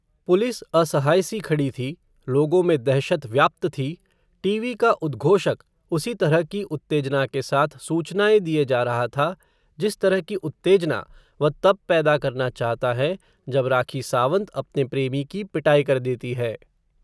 police असहाय सी खड़ी थी, लोगों में दहशत व्याप्त थी, टीवी का उदघोषक, उसी तरह की उत्तेजना के साथ, सूचनाएं दिए जा रहा था, जिस तरह की उत्तेजना, वह तब पैदा करना चाहता है, जब राखी सावंत, अपने प्रेमी की पिटाई कर देती है